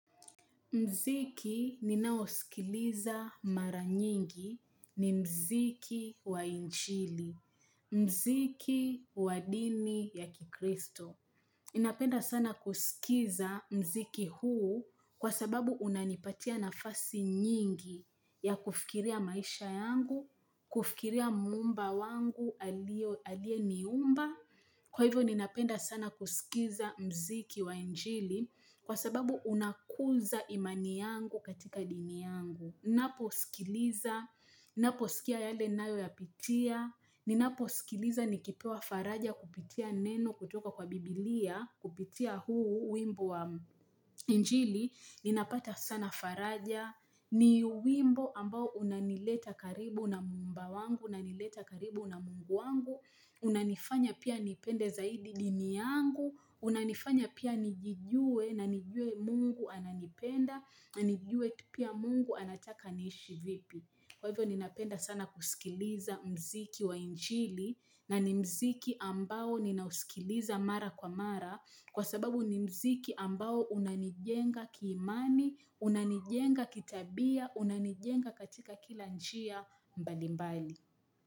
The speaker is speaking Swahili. Muziki ninaosikiliza mara nyingi ni muziki wa injili, mziki wa dini ya kikristo. Napenda sana kusikiza muziki huu kwa sababu unanipatia nafasi nyingi ya kufikiria maisha yangu, kufikiria muumba wangu aliyeniumba. Kwa hivyo ninapenda sana kusikiza muziki wa injili kwa sababu unakuza imani yangu katika dini yangu ninaposikiliza, naposikia yale nayoyapitia ninaposikiliza nikipewa faraja kupitia neno kutoka kwa biblia kupitia huu wimbo wa injili ninapata sana faraja ni wimbo ambao unanileta karibu na muumba wangu unanileta karibu na mungu wangu unanifanya pia nipende zaidi dini yangu unanifanya pia nijijue na nijue Mungu ananipenda na nijue pia mungu anataka niishi vipi Kwa hivyo ninapenda sana kusikiliza muziki wa injili na ni muziki ambao ninausikiliza mara kwa mara Kwa sababu ni muziki ambao unanijenga kiimani Unanijenga kitabia Unanijenga katika kila njia mbalimbali.